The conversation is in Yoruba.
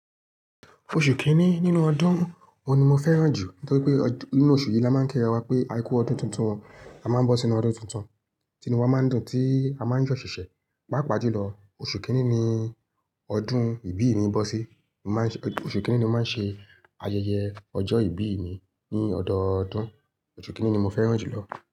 Oṣù kìíní nínú ọdún wo ni mo fẹ́ràn jù nítorí pé nínú oṣù yìí la máa ń kí ara wa pé a kú ọdún tuntun, a máa ń bọ́ sí inú ọdún tuntun, ti inú wa máa ń dùn, tí a máa ń yọ̀ ṣẹ̀ṣẹ̀. Pápa jùlọ, oṣù kìíní ni ọdún ìbí mi bọ́ sí. Oṣù kìíní ni mo máa ń ṣe ayẹyẹ ọjọ́ ìbí mi ní ọdọọdún. Oṣù kìíní ni mo fẹ́ràn jù lọ.